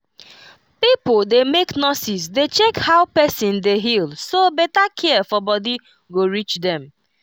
pipo dey make nurses dey check how person dey heal so better care for body go reach dem